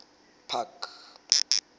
park